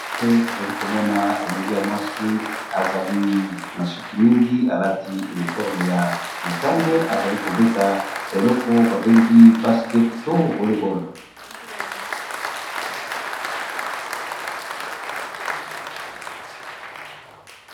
Awa tozali komona elenge ya mwasi ezali na suki mingi alati uniforme ya motane azali kobeta eleko babengi basket to vollebol.